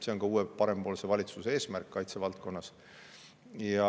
See on ka uue, parempoolse valitsuse eesmärk kaitsevaldkonnas.